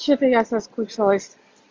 что-то я соскучилась